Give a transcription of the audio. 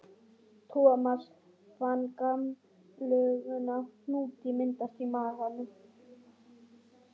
Thomas fann gamalkunnan hnút myndast í maganum.